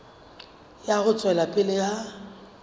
ya ho tswela pele ha